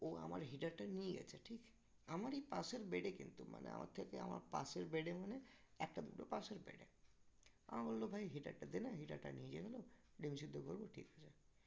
ও আমার heater টা নিয়ে গেছে ঠিক আমারই পাশের bed এ কিন্তু মানে আমার থেকে আমার পাশের bed এ মানে একটা দুটো পাশের bed এ আমাকে বলল ভাই heater টা দে না heater টা নিয়ে গেলো ডিম সেদ্ধ করবো ঠিক আছে